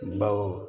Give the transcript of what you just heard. Baw